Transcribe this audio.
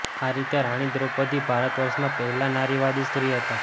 આ રીતે રાણી દ્રૌપદી ભારત વર્ષનાં પહેલાં નારીવાદી સ્ત્રી હતાં